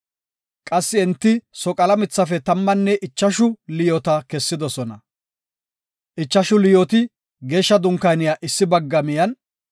Qassi enti soqala mithafe tammanne ichashu liyoota kessidosona. Ichashu liyooti Geeshsha Dunkaaniya issi bagga miyen,